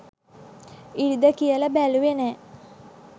ඉරිදා කියලා බැලුවේ නෑ